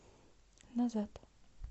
назад